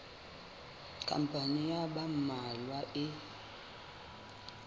khampani ya ba mmalwa e